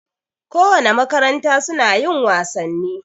Ko wane makaranta suna yin wasanni